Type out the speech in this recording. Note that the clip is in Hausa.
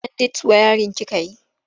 Kwandit wayarin kika yi?